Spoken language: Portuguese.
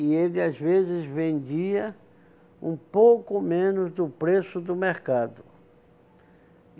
E ele, às vezes, vendia um pouco menos do preço do mercado.